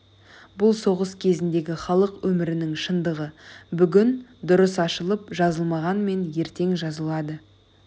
бұл соғыс кезіндегі халық өмірінің шындығы бүгін дұрыс ашылып жазылмағанмен ертең жазылады